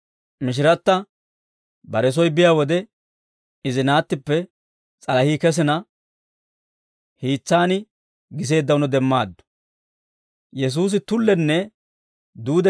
Mishiratta bare soy biyaa wode, izi naattippe s'alahii kesina, hiis'an giseeddawunno demmaaddu.